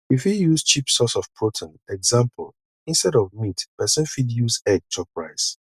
you fit use cheap source of protein eg instead of meat person fit use egg chop rice